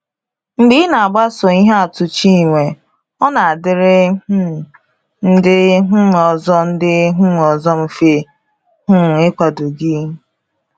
Mgbe ị na-agbaso ihe atụ Chinwe, ọ na-adịrị um ndị um ọzọ ndị um ọzọ mfe um ịkwado gị.